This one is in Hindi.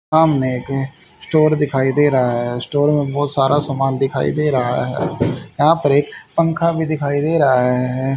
आमनेके स्टोअर दिखाई दे रहा है स्टोअर में बोहोत सारा सामान दिखाई दे रहा है यहां पर एक पंखा भी दिखाई दे रहा है।